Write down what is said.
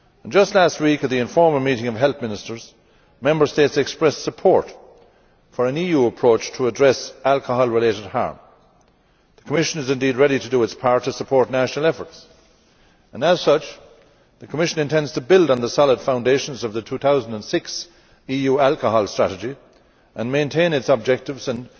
Just last week at the informal meeting of Health Ministers, Member States expressed support for an EU approach to address alcohol related harm. The Commission is indeed ready to do its part to support national efforts and, as such, the Commission intends to build on the solid foundations of the 2006 EU Alcohol Strategy and maintain its objectives and